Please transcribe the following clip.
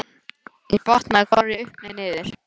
Ég botnaði hvorki upp né niður.